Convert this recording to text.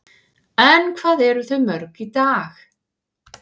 En hvað eru þau mörg í dag?